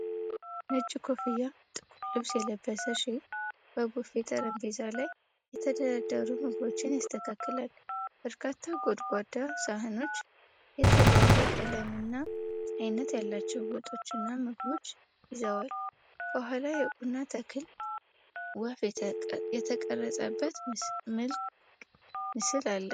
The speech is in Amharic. ነጭ ኮፍያና ጥቁር ልብስ የለበሰ ሼፍ በቡፌ ጠረጴዛ ላይ የተደረደሩ ምግቦችን ያስተካክላል። በርካታ ጎድጓዳ ሳህኖች የተለያየ ቀለምና ዓይነት ያላቸው ወጦችና ምግቦች ይዘዋል። ከኋላ የቡና ተክልና ወፍ የተቀረጸበት ትልቅ ምስል አለ።